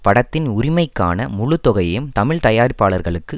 படத்தின் உரிமைக்கான முழுத்தொகையையும் தமிழ் தயார்ப்பாளர்களுக்கு